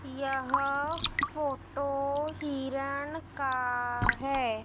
यह फोटो हिरन का है।